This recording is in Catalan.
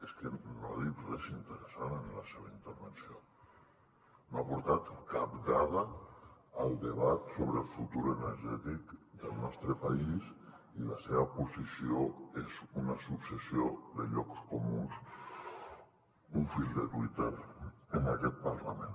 és que no ha dit res interessant en la seva intervenció no ha aportat cap dada al debat sobre el futur energètic del nostre país i la seva posició és una successió de llocs comuns un fil de twitter en aquest parlament